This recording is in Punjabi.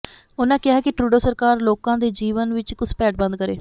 ਉਨ੍ਹਾਂ ਕਿਹਾ ਕਿ ਟਰੂਡੋ ਸਰਕਾਰ ਲੋਕਾਂ ਦੇ ਜੀਵਨ ਵਿੱਚ ਘੁਸਪੈਠ ਬੰਦ ਕਰੇ